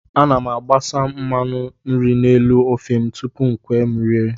Ana m agbasa mmanụ nri n'elu ofe m tupu o kwe m oriri